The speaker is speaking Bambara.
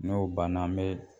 N'o banna an bɛ